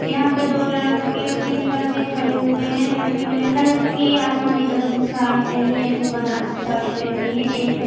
यहां पे दो लड़की और तीन लड़के खड़े हुए है लड़कियों ने हल्की आसमानी कलर की साड़ी पहनी है एक ने बनारसी साड़ी पहनी है एक ने--